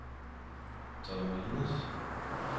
Torremolinos